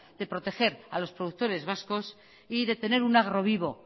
de proteger a los productores vascos y de tener un agro vivo